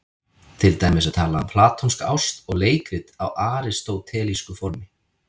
Til dæmis er talað um platónska ást og leikrit á aristótelísku formi.